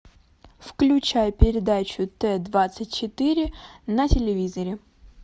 включай передачу т двадцать четыре на телевизоре